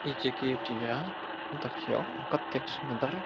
इ जे गेट ये देखियो कतेक सुन्दर --